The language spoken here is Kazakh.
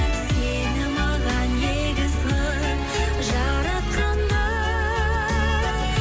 сені маған егіз қылып жаратқан ба